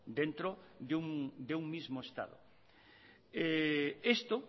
dentro de un mismo estado esto